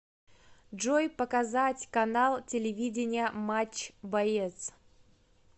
джой показать канал телевидения матч боец